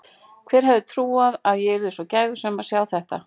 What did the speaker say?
Hver hefði getað trúað að ég yrði svo gæfusöm að sjá þetta.